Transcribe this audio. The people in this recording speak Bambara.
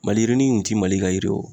Maliyirinin in ti Mali ka yiri ye wo